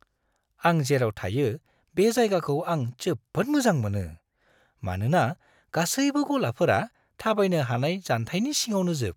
आं जेराव थायो बे जायगाखौ आं जोबोद मोजां मोनो, मानोना गासैबो गलाफोरा थाबायनो हानाय जानथायनि सिङावनोजोब।